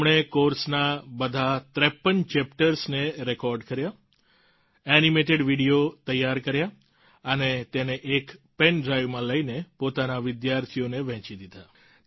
તેમણે કોર્સના બધા 53 ચેપ્ટર્સને રેકોર્ડ કર્યા એનિમેટેડ વીડિયો તૈયાર કર્યા અને તેને એક પેન ડ્રાઈવમાં લઈને પોતાના વિદ્યાર્થીઓને વહેંચી દીધા